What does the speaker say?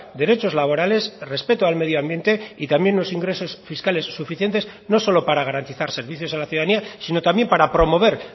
derechos laborales respeto al medioambiente y también unos ingresos fiscales suficientes no solo para garantizar servicios a la ciudadanía sino también para promover